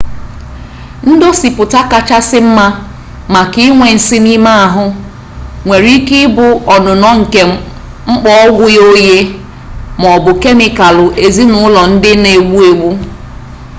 ndosipụta kachasị mma maka inwe nsi n'ime ahụ nwere ike ịbụ ọnụnọ nke mkpọ ogwụ ghe oghe ma ọ bụ kemikalụ ezinụlọ ndị na-egbu agbu